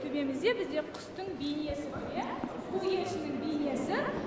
төбемізде бізде құстың бейнесі тұр иә көгершіннің бейнесі